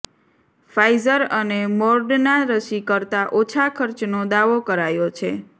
Pfizer અને Moderna રસી કરતાં ઓછા ખર્ચનો દાવો કરાયો છે